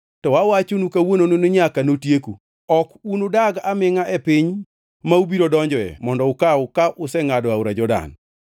to awachonu kawuononi ni nyaka notieku. Ok unudag amingʼa e piny ma ubiro donjoe mondo ukaw ka usengʼado aora Jordan.